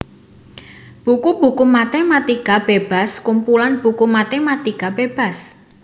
Buku buku matématika bébas Kumpulan buku matématika bébas